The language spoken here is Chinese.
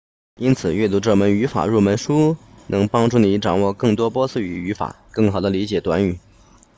因此阅读这本语法入门书能帮助你掌握更多波斯语语法更好地理解短语